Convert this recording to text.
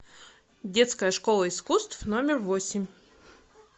детская школа искусств номер восемь